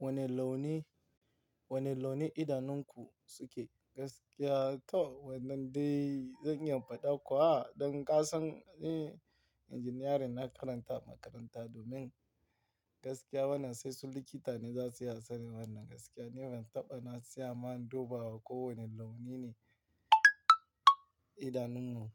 Wane launi, wane launi idanunku suke? Gaskiya to wannan dai zan iya in faɗa kuwa, don kasan ne engineering na karanta a makaranta domin gaskiya wannan sai su likita ne za su iya sanin wannan gaskiya. Ni ban taɓa na tsaya ma in duba ko wane launi ne idanun mu